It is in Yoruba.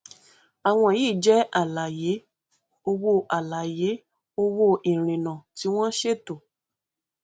àwọn yìí jẹ àlàyé owó àlàyé owó ìrìnà tí wọn ṣètò